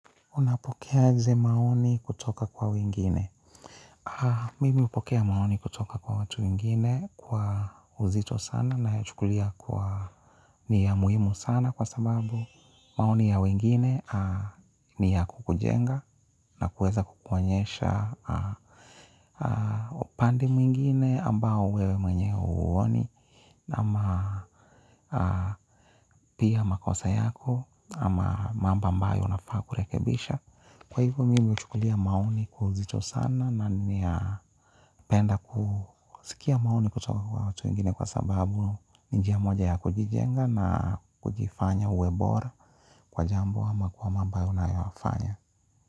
Unapokea aje maoni kutoka kwa wingine? Mimi hupokea maoni kutoka kwa watu wingine kwa uzito sana na ya chukulia kwa ni ya muhimu sana kwa sababu, maoni ya wingine ni ya kukujenga na kuweza kukuonyesha upande mwingine ambao wewe mwenye huoni na ama pia makosa yako ama mambo ambayo unafaa kurekebisha. Kwa hivyo mimi huchukulia maoni kwa uzito sana na ni ya penda kusikia maoni kutoka kwa watu wengine kwa sababu, ni njia moja ya kujijenga na kujifanya uwe bora kwa jambo ama kwa mambo unayofanya.